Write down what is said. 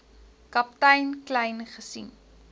kaptein kleyn gesien